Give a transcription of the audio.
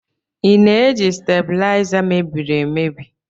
I na-eji stabuliza mebiri emebi?